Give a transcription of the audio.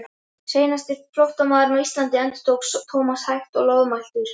Seinasti flóttamaður á Íslandi endurtók Thomas hægt og loðmæltur.